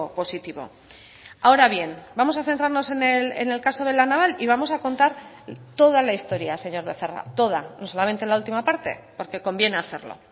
positivo ahora bien vamos a centrarnos en el caso de la naval y vamos a contar toda la historia señor becerra toda no solamente la última parte porque conviene hacerlo